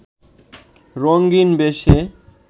রঙিন্ বেশে